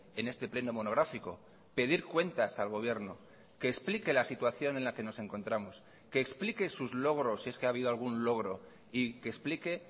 en este pleno monográfico pedir cuentas al gobierno que explique la situación en la que nos encontramos que explique sus logros si es que ha habido algún logro y que explique